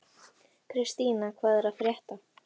Kristína, hvað er að frétta?